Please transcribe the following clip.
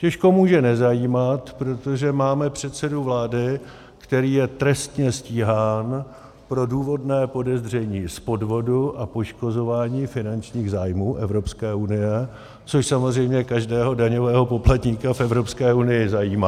Těžko může nezajímat, protože máme předsedu vlády, který je trestně stíhán pro důvodné podezření z podvodu a poškozování finančních zájmů Evropské unie, což samozřejmě každého daňového poplatníka v Evropské unii zajímá.